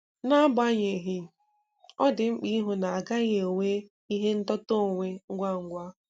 N'agbanyeghị, ọ dị mkpa ịhụ na-agaghi enwe ihe ndọta onwe ngwa ngwa.